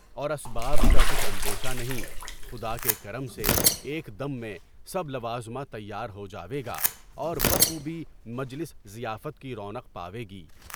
اور اسباب کا کچھ اندیشہ نہیں، خدا کے کرم سے ایک دم میں سب لبظمہ تیار ہو جاویگا گے اور بہ خوبی مجلس ضیافت کی رونق پاویگی گی۔